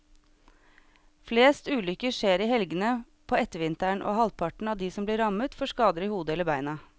Flest ulykker skjer i helgene på ettervinteren, og halvparten av de som blir rammet får skader i hodet eller beina.